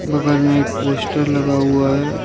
बगल में एक पोस्टर लगा हुआ है।